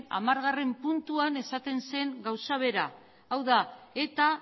hamargarrena puntuan esaten zen gauza bera hau da eta